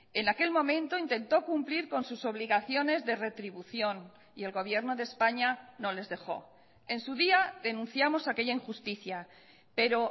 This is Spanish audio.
en aquel momento intento cumplir con sus obligaciones de retribución y el gobierno de españa no les dejó en su día denunciamos aquella injusticia pero